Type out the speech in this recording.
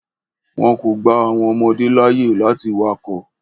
Wọn kò gba àwọn ọmọdé láàyè láti wakọ̀.